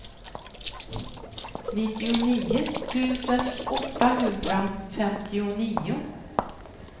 nittionio tusen åttahundrafemtionio